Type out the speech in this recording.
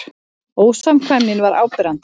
Ósamkvæmnin var áberandi.